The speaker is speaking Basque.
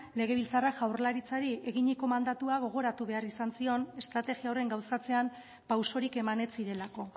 legebiltzarrak jaurlaritzari eginiko mandatua gogoratu behar izan zion estrategia horren gauzatzean pausorik eman ez zirelako